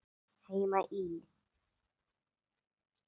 Heima í